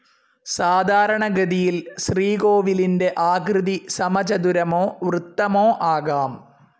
സാധാരണഗതിയിൽ ശ്രീകോവിലിന്റെ ആകൃതി സമചതുരമോ വൃത്തമോ ആകാം.